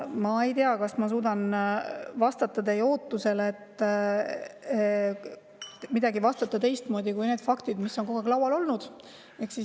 Ma ei tea, kas ma suudan vastata teie ootusele ja vastata kuidagi teistmoodi kui nende faktidega, mis on kogu aeg laual olnud.